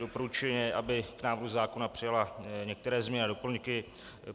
Doporučuje, aby k návrhu zákona přijala některé změny a doplňky.